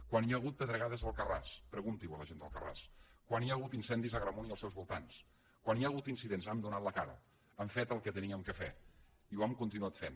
quan hi ha hagut pedregades a alcarràs pregunti ho a la gent d’alcarràs quan hi ha hagut incendis a agramunt i als seus voltants quan hi ha hagut incidents hem donat la cara hem fet el que havíem de fer i ho hem continuat fent